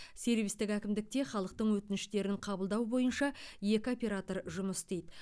сервистік әкімдікте халықтың өтініштерін қабылдау бойынша екі оператор жұмыс істейді